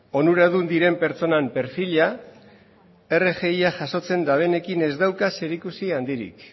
onuradun diren pertsonen perfilak rgia jasotzen dabenekin ez dauka zerikusi handirik